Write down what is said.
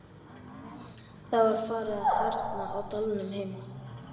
Það var farið að harðna á dalnum heima.